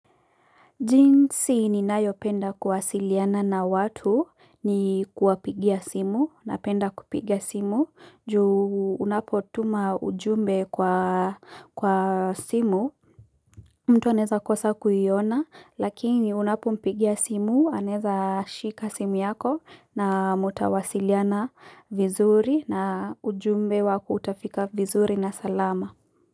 Jinsi ninayopenda kuwasiliana na watu ni kuwapigia simu napenda kupigia simu juu unapotuma ujumbe kwa simu mtu anaweza kosa kuiona lakini unapompigia simu anweza shika simu yako na mtawasiliana vizuri na ujumbe wako utafika vizuri na salama.